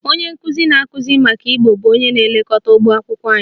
Onye nkụzi na-akụzi maka ụgbọ bụ onye na-elekọta ụgbọ ụlọakwụkwọ anyị